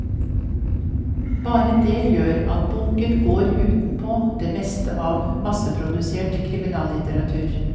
Bare det gjør at boken går utenpå det meste av masseprodusert kriminallitteratur.